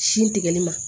Sin tigɛli ma